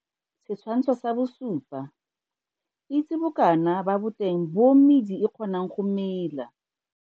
Setshwantsho sa 7. Itse bokana ba boteng bo medi e kgonang go mela.